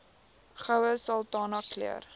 goue sultana keur